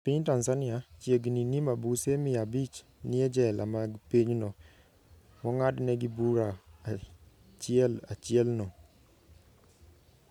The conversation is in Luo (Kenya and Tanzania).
E piny Tanzania, chiegni ni mabuse mia abich nie jela mag pinyno, mongadnegi bura ahiel achiel no..